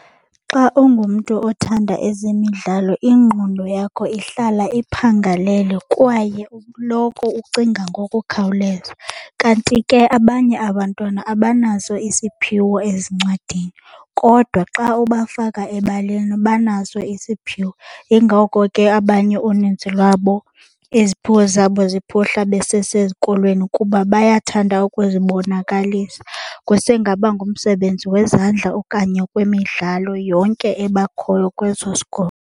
Xa ungumntu othanda ezemidlalo ingqondo yakho ihlala iphangalele kwaye uloko ucinga ngokukhawuleza. Kanti ke abanye abantwana abanaso isiphiwo ezincwadini kodwa xa ubafaka ebaleni banaso isiphiwo. Yingoko ke abanye uninzi lwabo iziphiwo zabo ziphuhla besesesikolweni kuba bayathanda ukuzibonakalisa. Kusengaba ngumsebenzi wezandla okanye wemidlalo yonke ebakhoyo kweso sikolo.